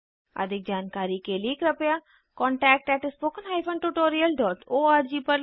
अधिक जानकारी के लिए कृपया contact at spoken hyphen tutorial dot org पर लिखें